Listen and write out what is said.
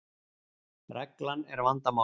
Reglan er vandamálið.